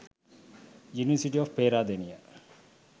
university of peradeniya